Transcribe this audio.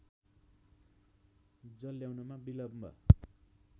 जल ल्याउनमा विलम्ब